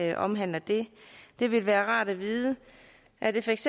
det omhandler det det vil være rart at vide er det feks